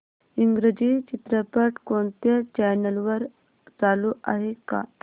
इंग्रजी चित्रपट कोणत्या चॅनल वर चालू आहे का